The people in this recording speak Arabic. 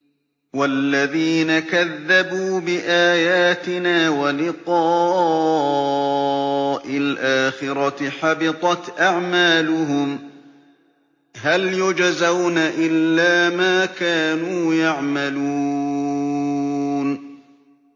وَالَّذِينَ كَذَّبُوا بِآيَاتِنَا وَلِقَاءِ الْآخِرَةِ حَبِطَتْ أَعْمَالُهُمْ ۚ هَلْ يُجْزَوْنَ إِلَّا مَا كَانُوا يَعْمَلُونَ